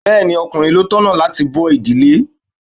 Bẹẹni, ọkùnrin ló tọ̀nà láti bó ìdílé.